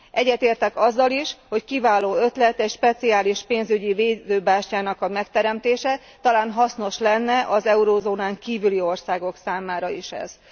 Egyetértek azzal is, hogy kiváló ötlet egy speciális pénzügyi védőbástyának a megteremtése, talán hasznos lenne az eurózónán kívüli országok számára is ez.